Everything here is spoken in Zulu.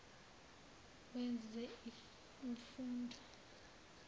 wezemfundo